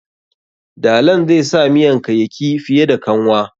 Dalan zai sa miyanka yauki fiye da kanwa.